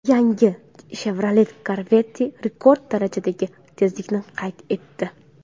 Yangi Chevrolet Corvette rekord darajadagi tezlikni qayd etdi.